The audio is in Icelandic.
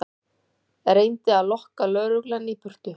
Reyndi að lokka lögreglu í burtu